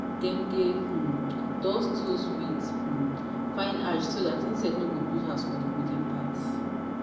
dem dey um dust tools with um fine ash so dat insect no go build house for the wooden parts.